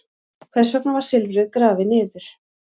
Hvers vegna var silfrið grafið niður?